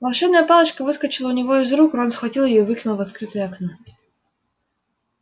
волшебная палочка выскочила у него из рук рон схватил её и выкинул в открытое окно